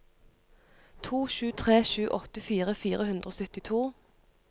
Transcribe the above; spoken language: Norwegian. to sju tre sju åttifire fire hundre og syttito